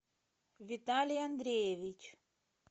виталий андреевич